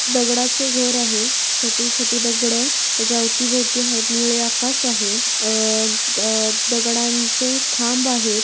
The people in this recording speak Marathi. दगडाचे घर आहे छोटी छोटी दगड त्याच्या अवती भोवती आहेत निळे आकाश आहे अ द दगडांचे खांब आहेत.